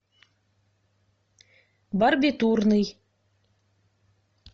барбитурный